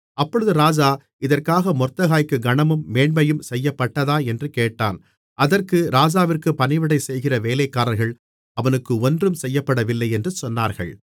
அப்பொழுது ராஜா இதற்காக மொர்தெகாய்க்கு கனமும் மேன்மையும் செய்யப்பட்டதா என்று கேட்டான் அதற்கு ராஜாவிற்கு பணிவிடை செய்கிற வேலைக்காரர்கள் அவனுக்கு ஒன்றும் செய்யப்படவில்லை என்று சொன்னார்கள்